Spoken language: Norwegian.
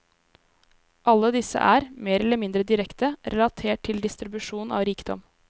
Alle disse er, mer eller mindre direkte, relatert til distribusjon av rikdom.